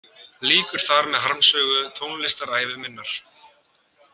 Lýkur þar með harmsögu tónlistarævi minnar.